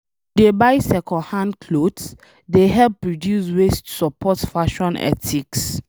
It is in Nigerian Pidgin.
To dey buy second hand cloth, dey help reduce waste support fashion ethics